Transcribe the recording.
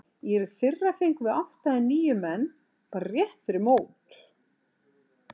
Í fyrra fengum við átta eða níu menn bara rétt fyrir mót.